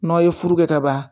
N'aw ye furu kɛ ka ban